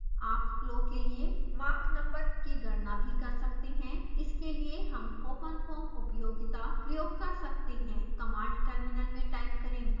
आप फ्लो के लिए mach नंबर की गणना भी कर सकते हैं इसके लिए हम openfoam उपयोगिता प्रयोग कर सकते हैं कमांड टर्मिनल में टाइप करें mach